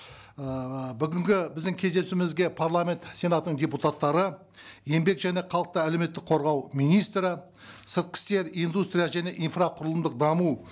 ыыы бүгінгі біздің кездесуімізге парламент сенатының депутаттары еңбек және халықты әлеуметтік қорғау министрі сыртқы істер индустрия және инфрақұрылымдық даму